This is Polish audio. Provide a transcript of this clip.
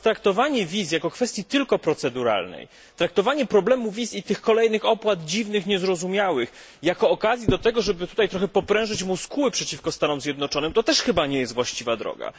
Natomiast traktowanie wiz jako kwestii tylko proceduralnej, traktowanie problemu wiz i tych kolejnych dziwnych, niezrozumiałych opłat jako okazji do tego, żeby tutaj trochę poprężyć muskuły przeciwko Stanom Zjednoczonym, to też chyba nie jest właściwa droga.